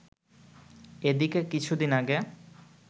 এদিকে কিছুদিন আগে